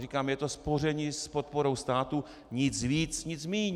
Říkám, je to spoření s podporou státu, nic víc, nic míň.